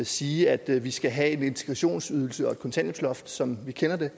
sige at vi skal have en integrationsydelse og et kontanthjælpsloft som vi kender det